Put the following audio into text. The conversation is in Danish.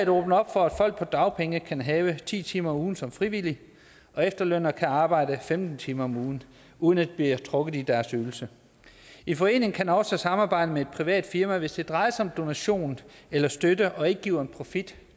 åbner op for at folk på dagpenge kan have ti timer om ugen som frivillig og efterlønnere kan arbejde femten timer om ugen uden at det bliver trukket i deres ydelse en forening kan også samarbejde med et privat firma hvis det drejer sig om donation eller støtte og ikke giver profit